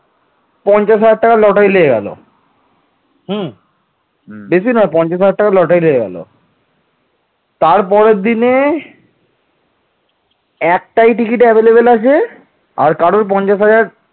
কিন্তু এ অঞ্চলগুলো তিনি শেষ পর্যন্ত ধরে রাখতে পারেন নি